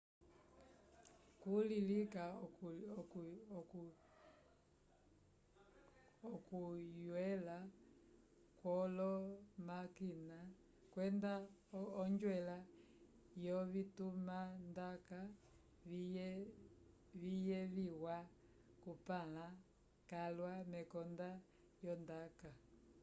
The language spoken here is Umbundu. kuli lika okuywela kwolomakina kwenda onjwela yovitumandaka viyeviwa kupãla calwa mekonda lyondaka